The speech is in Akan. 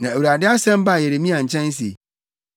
Na Awurade asɛm baa Yeremia nkyɛn se,